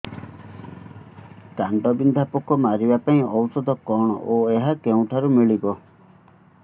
କାଣ୍ଡବିନ୍ଧା ପୋକ ମାରିବା ପାଇଁ ଔଷଧ କଣ ଓ ଏହା କେଉଁଠାରୁ ମିଳିବ